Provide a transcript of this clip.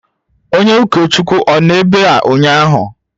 Onye ụkọchukwu ọ nọ ebe a ụnyaahụ?